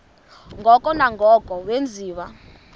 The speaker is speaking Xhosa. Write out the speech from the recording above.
ngoko nangoko wenziwa